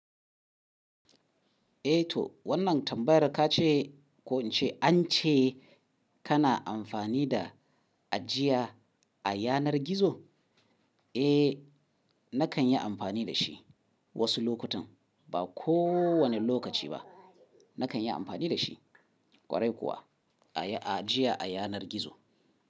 Eh to wannan tambayar ka ce ko in ce an ce kana amfani da ajiya a yanar gizo? Eh nakan yi amfani da shi wasu lokutan ba kowane lokaci ba. Nakan yi amfani da shi ƙwarai kuwa ajiya a yanar gizo.